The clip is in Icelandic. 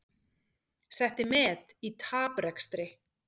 Setti met í taprekstri